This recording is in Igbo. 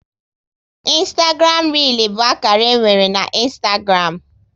Ịnstagram réel bụ akara e nwere na Ịnstagram